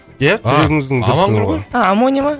ия жүрегіңіздің дүрсілі ғой амоня ма